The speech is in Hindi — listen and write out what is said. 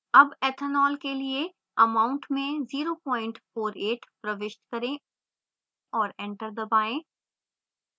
अब ethanol के लिए amount में 048 प्रविष्ट करें और enter दबाएँ